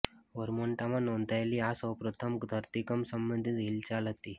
વર્મોન્ટમાં નોંધાયેલી આ સૌ પ્રથમ ધરતીકંપ સંબંધિત હિલચાલ હતી